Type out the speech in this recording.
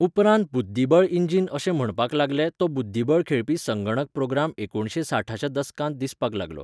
उपरांत बुद्दीबळ इंजिन अशें म्हणपाक लागले तो बुद्दीबळ खेळपी संगणक प्रोग्राम एकुणशे साठाच्या दसकांत दिसपाक लागलो.